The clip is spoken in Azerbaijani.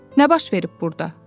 Nə baş verib burda?